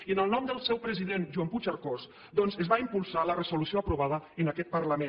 i en el nom del seu president joan puigcercós doncs es va impulsar la resolució aprovada en aquest parlament